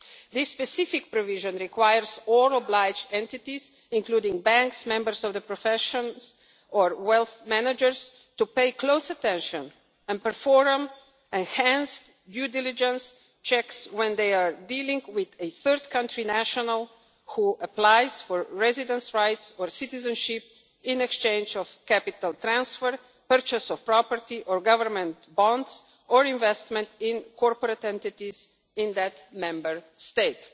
This specific provision requires all obliged entities, including banks, members of the professions or wealth managers, to pay close attention and perform enhanced due diligence checks when they are dealing with a third country national who applies for residence rights or citizenship in exchange for capital transfer, purchase of property or government bonds or investment in corporate entities in that Member State.